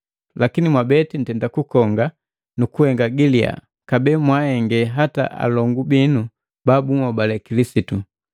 Lakini Mwabeti ntenda kukonga nukuhenga gi liyaa, kabee mwahenge hata alongu bino babuhobale Kilisitu!